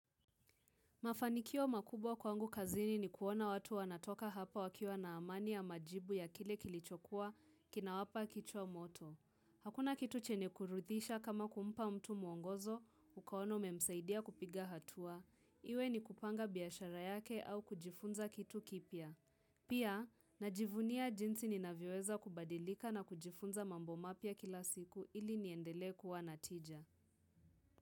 Mafanikio makubwa kwangu kazini ni kuona watu wanatoka hapa wakiwa na amani ya majibu ya kile kilichokua kina wapa kichwa moto. Hakuna kitu chenye kuridisha kama kumpa mtu mwongozo, ukaona umemsaidia kupiga hatua. Iwe ni kupanga biashara yake au kujifunza kitu kipya. Pia, najivunia jinsi inavyoweza kubadilika na kujifunza mambo mapya kila siku ili niendele kuwa natija.